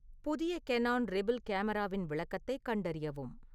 புதிய Canon Rebel கேமராவின் விளக்கத்தைக் கண்டறியவும்